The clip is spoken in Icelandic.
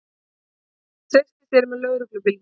Treysti sér með lögreglubílnum